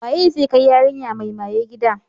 Waye zai kai yarinya mai maye gida?